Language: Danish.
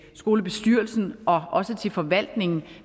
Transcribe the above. skolebestyrelsen og også til forvaltningen